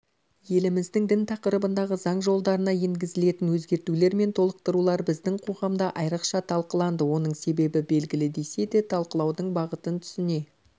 еліміздің дін тақырыбындағы заң жолдарына енгізілетін өзгертулер мен толықтырулар біздің қоғамда айрықша талқыланды оның себебі белгілі десе де талқылаудың бағытын түсіне